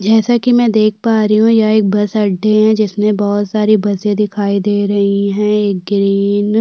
जैसा कि मैं देख पा रही हूं यह एक बस अड्डे है जिसमें बहोत सारी बसे दिखाई दे रही हैं ग्रीन --